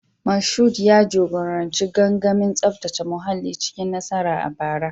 Mashood ya jagoranci gangamin tsaftace muhalli cikin nasara a bara